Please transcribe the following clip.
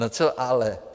No co ale?